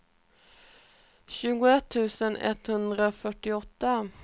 tjugoett tusen etthundrafyrtioåtta